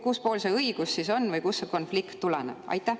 Kuspool see õigus siis on või kust see konflikt tuleneb?